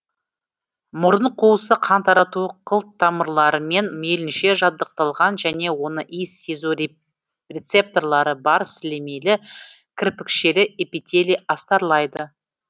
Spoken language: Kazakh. мұрын қуысы қан тарату қылтамырларымен мейлінше жабдықталған және оны иіс сезу рецепторлары бар сілемейлі кірпікшелі эпителий астарлайды